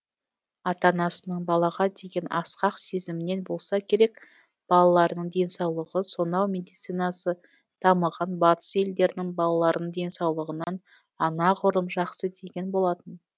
ата анасының балаға деген асқақ сезімінен болса керек балаларының денсаулығы сонау медицинасы дамыған батыс елдерінің балаларының денсаулығынан анағұрлым жақсы деген болатын